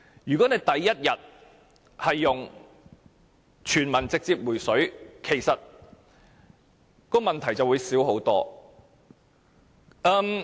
如果政府採用"全民直接回水"的方法處理，問題便會少得多。